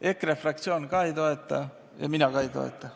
EKRE fraktsioon ka ei toeta ja mina ka ei toeta.